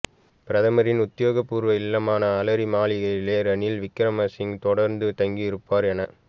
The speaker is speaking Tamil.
பிரதமரின் உத்தியோகபூர்வ இல்லமான அலரி மாளிகையிலேயே ரணில் விக்கிரமசிங்க தொடர்ந்தும் தங்கியிருப்பார் என